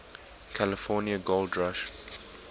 california gold rush